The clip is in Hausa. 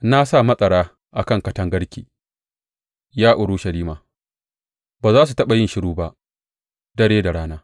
Na sa matsara a kan katangarki, ya Urushalima; ba za su taɓa yin shiru ba, dare da rana.